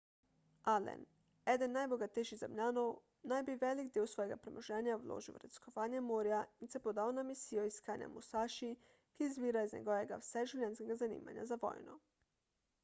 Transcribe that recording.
allen eden najbogatejših zemljanov naj bi velik del svojega premoženja vložil v raziskovanje morja in se podal na misijo iskanja musaši ki izvira iz njegovega vseživljenjskega zanimanja za vojno